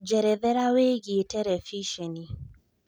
njerethera wĩigie terebĩcenĩ